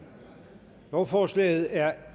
lovforslaget er